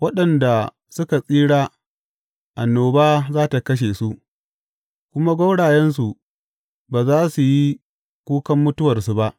Waɗanda suka tsira annoba za tă kashe su, kuma gwaurayensu ba za su yi kukan mutuwarsu ba.